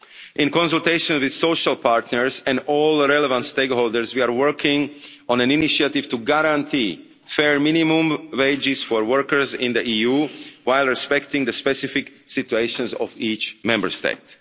In consultation with social partners and all the relevant stakeholders, we are working on an initiative to guarantee fair minimum wages for workers in the EU while respecting the specific situations of each Member State.